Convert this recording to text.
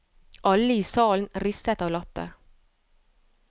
Alle i salen ristet av latter.